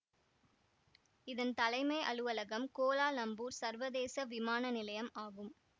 இதன் தலைமை அலுவலகம் கோலாலம்பூர் சர்வதேச விமான நிலையம் ஆகும்